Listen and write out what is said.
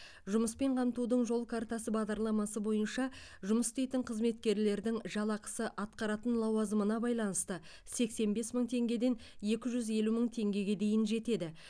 жұмыспен қамтудың жол картасы бағдарламасы бойынша жұмыс істейтін қызметкерлердің жалақысы атқаратын лауазымына байланысты сексен бес мың теңгеден екі жүз елу мың теңгеге дейін жетеді